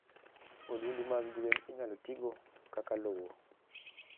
Odundu mag gwen inyalo tigo kaka lowo.